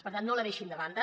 per tant no la deixin de banda